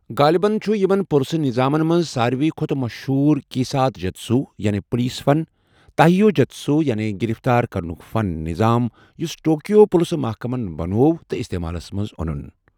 غٲلبن چُھ یمن پُلسہٕ نَظامن منز سارِویہ كھوتہٕ مشہوٗر كیسات جّتسوٗ یعنے( پولیس فن ) تایہو جُتسوٗ یعنے ( گِرفتار كرنُك فن ) نظام یُس ٹوكِیو پُلسہٕ محكمن بنوو تہٕ استعمالس منز اونُن